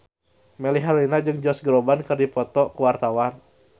Melly Herlina jeung Josh Groban keur dipoto ku wartawan